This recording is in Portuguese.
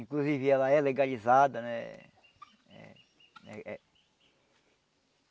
Inclusive ela é legalizada, né? Eh